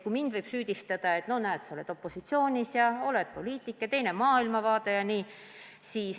Mind võib süüdistada, et sa oled opositsioonis, sa oled poliitik ja sul on teine maailmavaade jne.